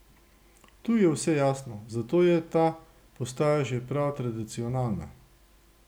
Tu je vse jasno, zato je ta postaja že prav tradicionalna.